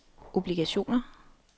obligationer